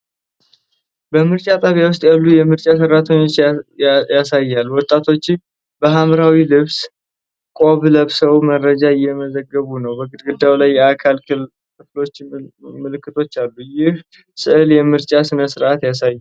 በምርጫ ጣቢያ ውስጥ ያሉ የምርጫ ሠራተኞችን ያሳያል። ወጣቶቹ በሐምራዊ ልብስ ቆብ ለብሰው መረጃ እየመዘገቡ ነው። በግድግዳው ላይ የአካል ክፍሎች ምልክቶች አሉ። ይህ ሥዕል የምርጫ ሥነ ሥርዓትን ያሳያል?